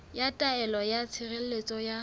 ya taelo ya tshireletso ya